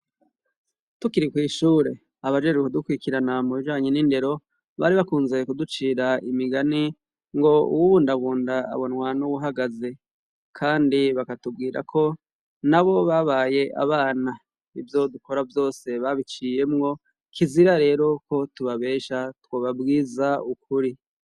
Tukiri kw'ishure abajere kudukwikiranambo janyu n'indero bari bakunzuye kuducira imigani ngo uwuwundabunda abonwa n'uwuhagaze, kandi bakatubwira ko na bo babaye abana ivyodukora vyose babiciyemwo kizira rero ko tubabesha twobabwie iza ukuri.